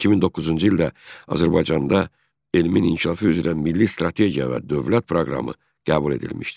2009-cu ildə Azərbaycanda elmin inkişafı üzrə milli strategiya və dövlət proqramı qəbul edilmişdir.